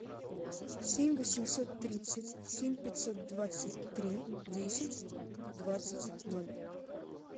семь восемьсот тридцать семь пятьсот двадцать три десять двадцать ноль